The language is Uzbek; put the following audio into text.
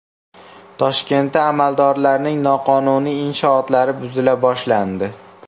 Toshkentda amaldorlarning noqonuniy inshootlari buzila boshlandi.